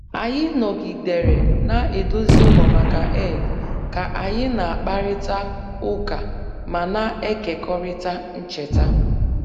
Anyị nọgidere na-edozi ụlọ maka Eid ka anyị na-akparịta ụka ma na-ekekọrịta ncheta